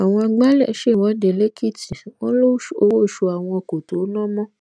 àwọn àgbálẹ ṣèwọde lẹkìtì wọn lowó oṣù àwọn kó tóó ná mọ